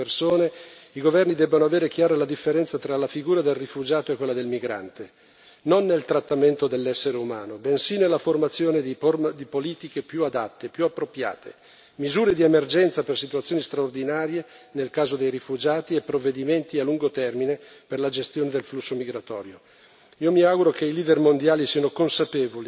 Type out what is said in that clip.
Io ritengo che per affrontare al meglio questi spostamenti di persone, i governi debbano avere chiara la differenza tra la figura del rifugiato e quella del migrante, non nel trattamento dell'essere umano, bensì nella formazione di politiche più adatte, più appropriate, misure di emergenza per situazioni straordinarie nel caso dei rifugiati e provvedimenti a lungo termine per la gestione del flusso migratorio.